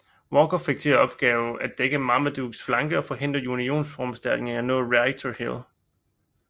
Walker fik til opgave at dække Marmadukes flanke og forhindre unionsforstærkninger i at nå Rightor Hill